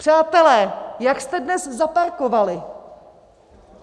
Přátelé, jak jste dnes zaparkovali?